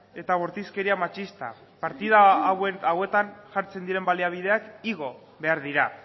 eta bortizkeria matxista partida hauetan jartzen diren baliabideak igo behar dira